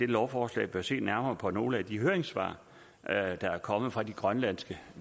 lovforslag bør se nærmere på nogle af de høringssvar der er kommet fra de grønlandske